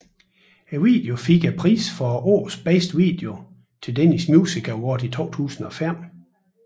Videoen fik prisen for årets bedste video Til Danish Music Award i 2005